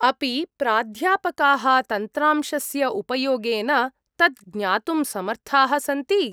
अपि प्राध्यापकाः तन्त्रांशस्य उपयोगेन तत् ज्ञातुं समर्थाः सन्ति?